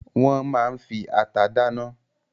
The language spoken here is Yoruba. Wọ́n máa ń fi ata dáná.